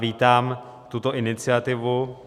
Vítám tuto iniciativu.